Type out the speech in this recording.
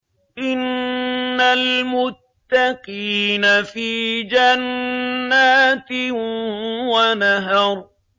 إِنَّ الْمُتَّقِينَ فِي جَنَّاتٍ وَنَهَرٍ